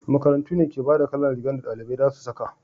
makarantu ne ke bada kalan rigan da dalibai za su saka